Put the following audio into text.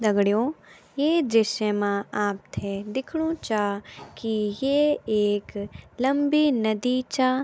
दगडियों ये दृश्य मा आपथे दिख्नणु चा की ये एक लम्बी नदी चा।